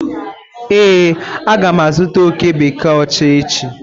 Ee, aga m azụta oké bekee ocha echi.